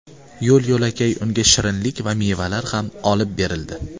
Yo‘l-yo‘lakay unga shirinlik va mevalar ham olib berildi.